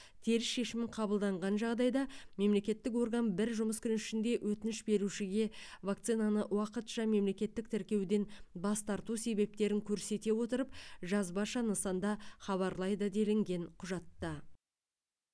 теріс шешім қабылданған жағдайда мемлекеттік орган бір жұмыс күні ішінде өтініш берушіге вакцинаны уақытша мемлекеттік тіркеуден бас тарту себептерін көрсете отырып жазбаша нысанда хабарлайды делінген құжатта